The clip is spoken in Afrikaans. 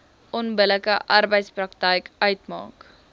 onbillike arbeidspraktyk uitmaak